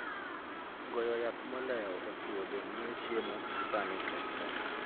Goyo yath modeo e puodho miyo chiemo masani kethre .